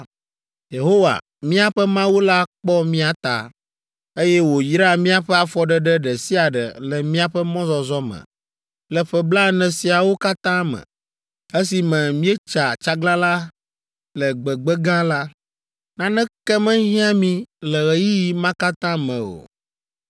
Yehowa, míaƒe Mawu la kpɔ mía ta, eye wòyra míaƒe afɔɖeɖe ɖe sia ɖe le míaƒe mɔzɔzɔ me le ƒe blaene siawo katã me, esime míetsa tsaglalã le gbegbe gã la. Naneke mehiã mí le ɣeyiɣi ma katã me o!